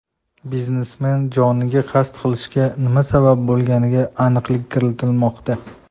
Biznesmen joniga qasd qilishiga nima sabab bo‘lganiga aniqlik kiritilmoqda.